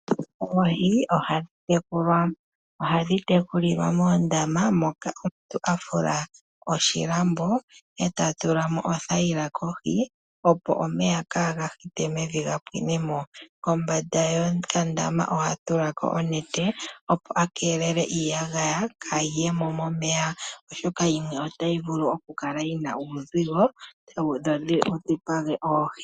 Oohi ohadhi tekulwa. Ohadhi tekulilwa moondama moka omuntu afula oshilambo eta tula mo oothayila kohi opo omeya kaaga hite mevi ga pwinemo . Kombanda yokandama ohaya tulako onete opo akeelele iiyagaya kayi yemo momeya oshoka yimwe otayi vulu okukala yina uuzigo tawu dhipaga oohi.